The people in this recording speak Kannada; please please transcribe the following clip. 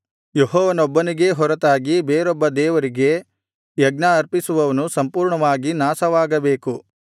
ಯೆಹೋವನೊಬ್ಬನಿಗೇ ಹೊರತಾಗಿ ಬೇರೊಬ್ಬ ದೇವರಿಗೆ ಯಜ್ಞ ಅರ್ಪಿಸುವವನು ಸಂಪೂರ್ಣವಾಗಿ ನಾಶವಾಗಬೇಕು